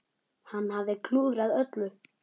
Hann hafði klúðrað öllu.